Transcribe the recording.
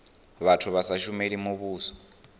vhathu vha sa shumeli muvhuso